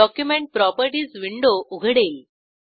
document properties window उघडेल